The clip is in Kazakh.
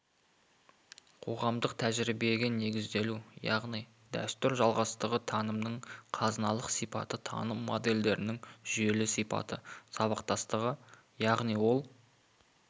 қоғамдық тәжірибеге негізделу яғни дәстүр жалғастығы танымның қазыналық сипаты таным модельдерінің жүйелі сипаты сабақтастығы яғни ол